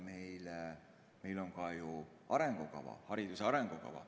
Meil on ka ju arengukava, hariduse arengukava.